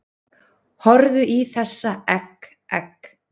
Horfðu í þessa egg, egg